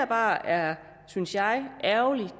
bare er synes jeg ærgerligt